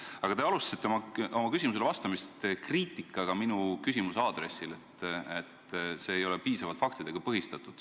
Aga te alustasite küsimusele vastamist kriitikaga minu küsimuse pihta – see nagu ei toetunud piisavalt faktidele.